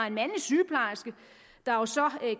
en mandlig sygeplejerske der jo så